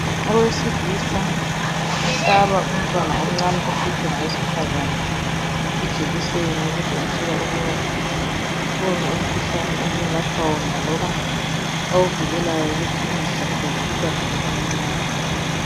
Owesilisa uhlaba umntwana omncane ophethwe ngewesifazana ijekiseni okutshengisela ukuba ukhona umkhuhlane amelapha wona loba awuvikelayo ukuthi ungahlaseli umntwana lo omncane.